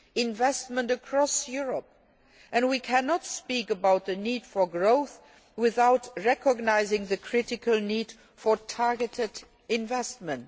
investment across Europe and we cannot speak about the need for growth without recognising the critical need for targeted investment.